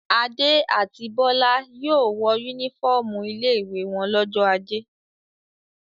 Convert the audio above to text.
Adé àti Bọ́lá yóò wọ únífọ́ọ́mù ilé-ìwé wọn lọ́jọ́ ajé.